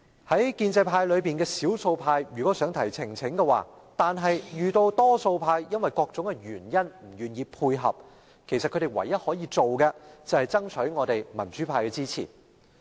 在建制派內的少數派如果想提出呈請，卻因為多數派基於各種原因而不願配合，他們唯一可行的辦法便是爭取我們民主派的支持。